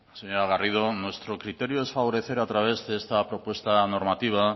señora garrido nuestro criterio es favorecer a través de esta propuesta normativa